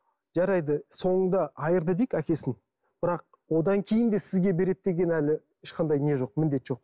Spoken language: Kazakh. жарайды соңында айырды дейік әкесін бірақ одан кейін де сізге береді деген әлі ешқандай не жоқ міндет жоқ